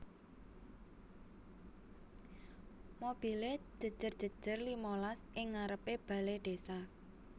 Mobile jejer jejer limalas ing ngarepe bale desa